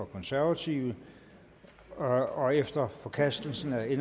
konservative og efter forkastelsen af